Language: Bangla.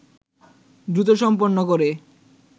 দ্রুত সম্পন্ন করে